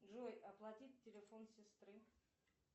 джой оплатить телефон сестры